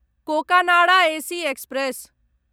Cocanada AC express